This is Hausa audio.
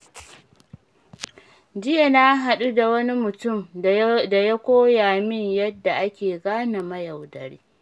Jiya na haɗu da wani mutum da ya koya min yadda ake gane mayaudari.